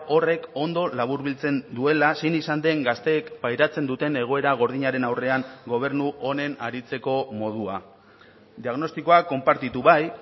horrek ondo laburbiltzen duela zein izan den gazteek pairatzen duten egoera gordinaren aurrean gobernu honen aritzeko modua diagnostikoa konpartitu bai